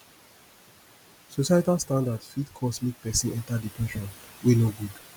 societal standard fit cause mek pesin enta depression wey no gud